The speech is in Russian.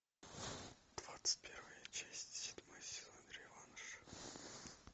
двадцать первая часть седьмой сезон реванш